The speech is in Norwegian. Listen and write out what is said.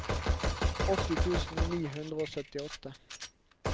åtti tusen ni hundre og syttiåtte